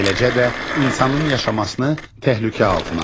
Eləcə də insanın yaşamasını təhlükə altına alır.